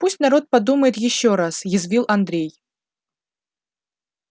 пусть народ подумает ещё раз язвил андрей